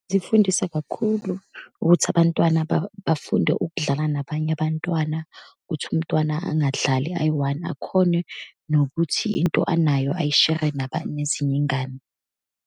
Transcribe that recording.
Zifundisa kakhulu ukuthi abantwana bafunde ukudlala nabanye abantwana, ukuthi umntwana angadlali ayi-one, akhone nokuthi into anayo ayishere nezinye iy'ngane.